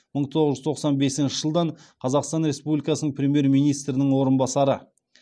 мың тоғыз жүз тоқсан бесінші жылдан қазақстан республикасының премьер министрінің орынбасары